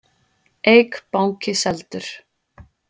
Eik banki seldur